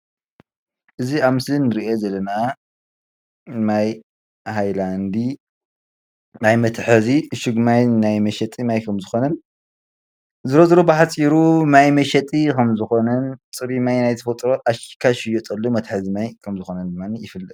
እዚ ኣብ ምስሊ እንሪኦ ዘለና ማይ ሃላንዲ ማይ መትሐዚ ዕሹግ ማይ መሸጢ ማይ ከም ዝኮነን ዝሮዝሮ ብሓፂሩ ማይ መሸጢ ከም ዝኮነን ፁሩይ ማይ ናይ ተፈጥሮ ኣሺግካ ዝሽየጠሉ ከም ዝኮነን ድማ ይፍለጥ፡፡